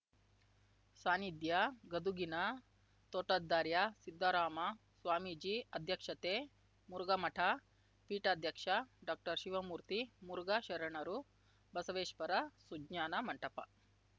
ಸಾನ್ನಿಧ್ಯ ಗದುಗಿನ ತೋಟದಾರ್ಯ ಸಿದ್ಧರಾಮ ಸ್ವಾಮೀಜಿ ಅಧ್ಯಕ್ಷತೆ ಮುರುಘಾಮಠ ಪೀಠಾಧ್ಯಕ್ಷ ಡಾಕ್ಟರ್ಶಿವಮೂರ್ತಿ ಮುರುಘಾ ಶರಣರು ಬಸವೇಶ್ವರ ಸುಜ್ಞಾನ ಮಂಟಪ